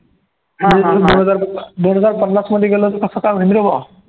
दोन हजार दोन हजार पन्नासमध्ये गेलो तर कसं काय होईन रे बा